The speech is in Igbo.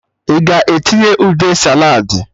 Ị ga-etinye ude saladị?